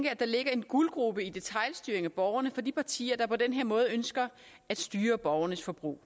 at der ligger en guldgrube i detailstyringen af borgerne for de partier der på den her måde ønsker at styre borgernes forbrug